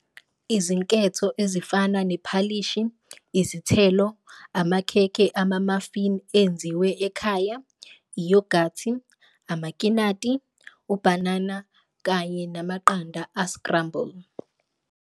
Izinketho ezifana nephalishi, izithelo, amakhekhe amamafini enziwe ekhaya, iyogathi, amakinati, ubhanana kanye namaqanda a-scramble.